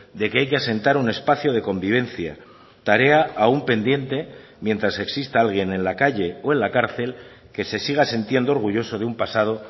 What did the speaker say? de que hay que asentar un espacio de convivencia tarea aún pendiente mientras exista alguien en la calle o en la cárcel que se siga sintiendo orgulloso de un pasado